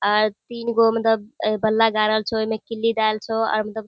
आ तीन गो मतलब बल्ला गाड़ल छो ए में किल्ली धेएल छो अ मतलब --